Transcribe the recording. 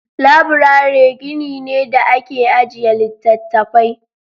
Laburare gini ne da ake ajiye littattafai.